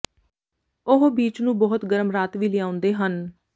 ਉਹ ਬੀਚ ਨੂੰ ਬਹੁਤ ਗਰਮ ਰਾਤ ਵੀ ਲਿਆਉਂਦੇ ਹਨ